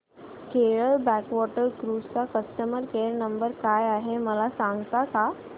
Kerala backwater cruise चा customer care number काय आहे मला सांगता का